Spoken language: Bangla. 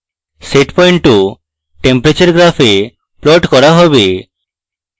setpoint ও temperature graph প্লট করা হবে